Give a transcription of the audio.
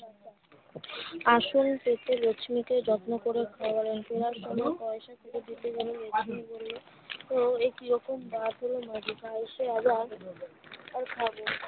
আঁচলে থেকে রেশমি কে যত্ন করে খাওয়ালেন পয়সা দিতে গেলে নেবেন না বলে ও একিরকম বাজে ছেলের নজর আগেই খাবো